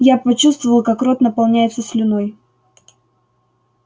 я почувствовал как рот наполняется слюной